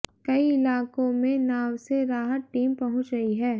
कई इलाकों में नाव से राहत टीम पहुंच रही है